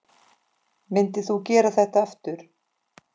Myndir þú gera þetta aftur?